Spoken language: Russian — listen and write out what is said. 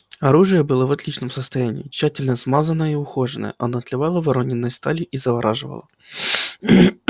оружие было в отличном состоянии тщательно смазанное и ухоженное оно отливало воронёной сталью и завораживало